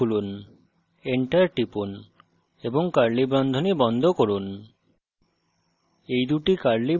এবং curly বন্ধনী খুলুন enter টিপুন এবং curly বন্ধনী বন্ধ করুন